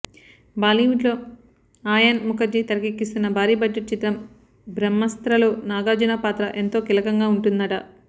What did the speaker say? బాలీవుడ్ లో ఆయాన్ ముఖర్జీ తెరకెక్కిస్తున్న భారీ బడ్జెట్ చిత్రం బ్రహ్మాస్త్రలో నాగార్జున పాత్ర ఎంతో కీలకంగా ఉంటుందట